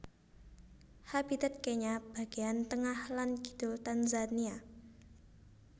Habitat Kenya bagéyan tengah lan kidul Tanzania